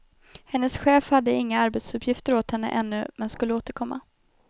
Hennes chef hade inga arbetsuppgifter åt henne ännu men skulle återkomma.